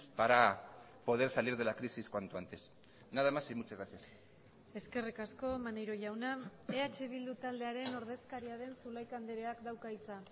para poder salir de la crisis cuanto antes nada más y muchas gracias eskerrik asko maneiro jauna eh bildu taldearen ordezkaria den zulaika andreak dauka hitza